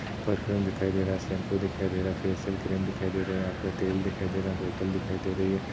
Perfume दिखाई दे रहा है शैम्पू दिखाई दे रहा है फ़ेश्यल क्रीम दिखाई दे रही है यहा पे तेल दिखाई दे रहा है बोतल दिखाई दे रही है।